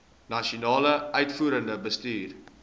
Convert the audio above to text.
nasionale uitvoerende bestuur